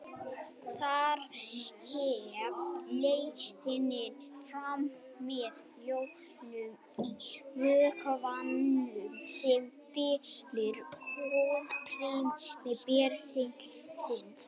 Þar fer leiðnin fram með jónum í vökvanum sem fyllir holrými bergsins.